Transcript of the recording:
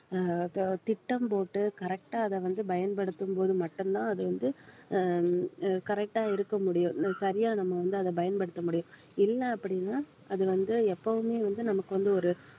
ஆஹ் ப~ திட்டம் போட்டு correct ஆ அதை வந்து பயன்படுத்தும் போது மட்டும்தான் அது வந்து அஹ் அஹ் correct ஆ இருக்க முடியும் சரியா நம்ம வந்து அதை பயன்படுத்த முடியும் இல்லை அப்படின்னா அது வந்து எப்பவுமே வந்து நமக்கு வந்து ஒரு